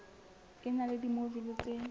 e na le dimojule tse